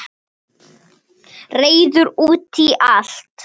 Reiður út í allt.